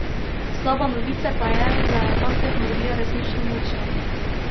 Slaba novice pa je, da je ta tehnologija resnično močna.